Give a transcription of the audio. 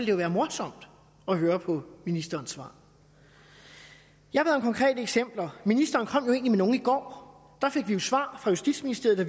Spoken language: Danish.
jo være morsomt at høre på ministerens svar jeg bad om konkrete eksempler ministeren kom jo egentlig med nogle i går der fik vi jo svar fra justitsministeriet